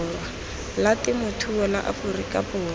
la temothuo la aforika borwa